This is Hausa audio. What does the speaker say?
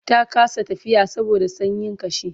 ta kasa tafiya saboda sanyin kashi